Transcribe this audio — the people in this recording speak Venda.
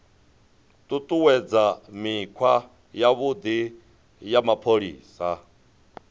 ṱuṱuwedza mikhwa yavhuḓi ya mapholisa